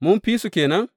Mun fi su ke nan?